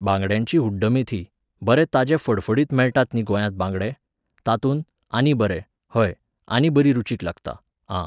बांगड्यांची हुड्डमेथी, बरे ताजे फडफडीत मेळटात न्ही गोंयांत बांगडे, तातूंत, आनी बरें, हय, आनी बरी रुचीक लागता, आं